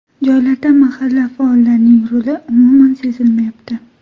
Joylarda mahalla faollarining roli umuman sezilmayapti.